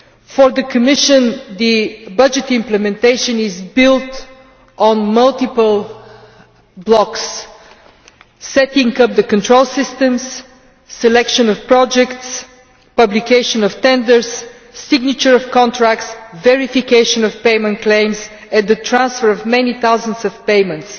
For the Commission, budget implementation is built on multiple blocks setting-up of control systems, selection of projects, publication of tenders, signature of contracts, verification of payment claims and the transfer of many thousands of payments.